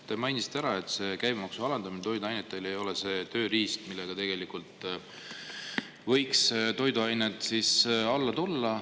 Te mainisite ära, et toiduainete käibemaksu alandamine ei ole see tööriist, mille abil tegelikult võiks toiduainete hinnad alla tulla.